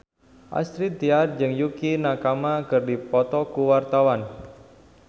Astrid Tiar jeung Yukie Nakama keur dipoto ku wartawan